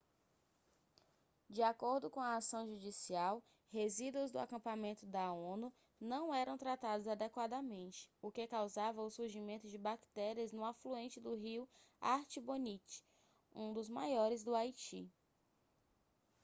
de acordo com a ação judicial resíduos do acampamento da onu não eram tratados adequadamente o que causava o surgimento de bactérias no afluente do rio artibonite um dos maiores do haiti